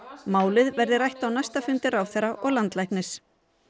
málið verði rætt á næsta fundi ráðherra og landlæknis